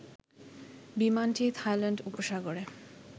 বিমানটি থাইল্যান্ড উপসাগরে